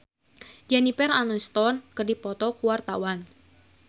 Rano Karno jeung Jennifer Aniston keur dipoto ku wartawan